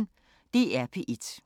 DR P1